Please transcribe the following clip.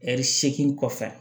Ɛri seegin kɔfɛ